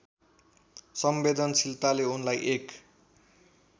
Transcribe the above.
संवेदनशीलताले उनलाई एक